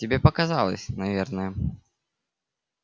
тебе показалось наверное